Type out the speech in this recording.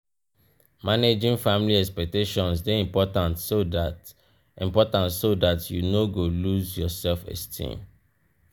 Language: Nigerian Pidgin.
managing family expectations de important so that important so that you no go loose yor self esteem